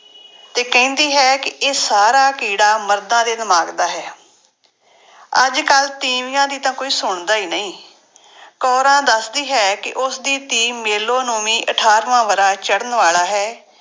ਤੇ ਕਹਿੰਦੀ ਹੈ ਕਿ ਇਹ ਸਾਰਾਂ ਕੀੜਾ ਮਰਦਾਂ ਦੇ ਦਿਮਾਗ ਦਾ ਹੈ ਅੱਜ ਕੱਲ੍ਹ ਤੀਵੀਆਂ ਦੀ ਤਾਂ ਕੋਈ ਸੁਣਦਾ ਹੀ ਨਹੀਂ ਕੋਰਾਂ ਦੱਸਦੀ ਹੈ ਕਿ ਉਸਦੀ ਧੀ ਮੇਲੋ ਨੂੰ ਵੀ ਅਠਾਰਵਾਂ ਵਰ੍ਹਾ ਚੜ੍ਹਨ ਵਾਲਾ ਹੈ,